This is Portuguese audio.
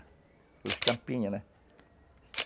Aquelas tampinhas, né?